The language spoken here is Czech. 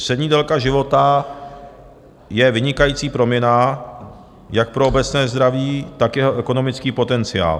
Střední délka života je vynikající proměnná jak pro obecné zdraví, tak jeho ekonomický potenciál.